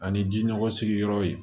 Ani ji nɔgɔ sigi yɔrɔ in